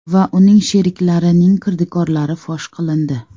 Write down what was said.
va uning sheriklarining kirdikorlari fosh qilindi.